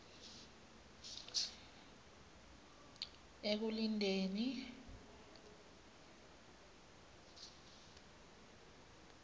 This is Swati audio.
ekulindeni